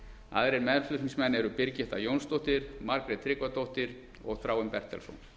aðrir meðflutningsmenn eru birgitta jónsdóttir margrét tryggvadóttir og þráinn bertelsson